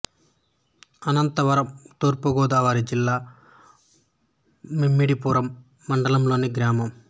అనాతవరం తూర్పు గోదావరి జిల్లా ముమ్మిడివరం మండలం లోని గ్రామం